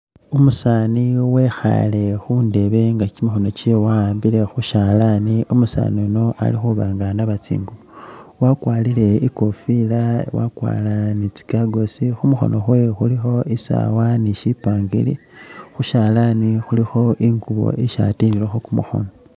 Umusaani wekhaale khundeebe nga kimikhono kyewe wa'ambile khushalani, umusaani uno ali khuba nga anaaba tsinguubo, wakwarire ikofiila wakwarire ne tsi gagosi, khumukhono kwewe khulikho isaawa ne shipangiri, khushalani khulikho ingubo isi atililelokho kumukhono.